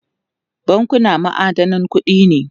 bankuna ma'adanan kuɗi ne